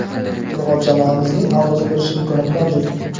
ilg‘or jamoamizning aʼzosi bo‘lish imkoniyati mavjud.